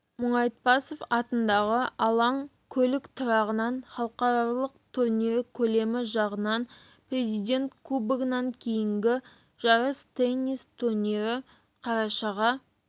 мұңайтпасов атындағы алаң көлік тұрағынан халықаралық турнирі көлемі жағынан президент кубогынан кейінгі жарыс теннис турнирі қарашаға